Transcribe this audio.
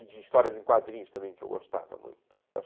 E de histórias em quadrinhos também, que eu gostava muito